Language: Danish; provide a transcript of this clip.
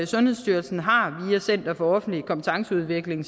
sundhedsstyrelsen har via center for offentlig kompetenceudvikling